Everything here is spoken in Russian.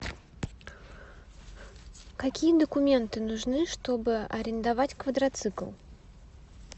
какие документы нужны чтобы арендовать квадроцикл